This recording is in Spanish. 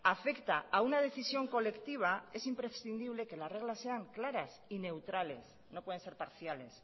afecta a una decisión colectiva es imprescindible que las reglas sean claras y neutrales no pueden ser parciales